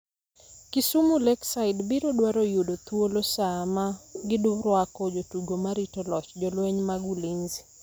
Kisumu Lakeside biro dwaro yudo thuolo sama girwako jotugo ma rito loch, jolweny mag Ulinzi